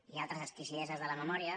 hi ha altres exquisideses de la memòria